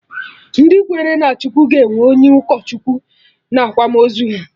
Ndị kwere na Chukwu ga-enwe onye ụkọ Chukwu na akwamozu ha